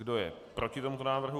Kdo je proti tomuto návrhu?